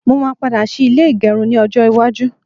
Mó máa padà ṣí ilé ìgẹrun ni ọjọ́ iwájú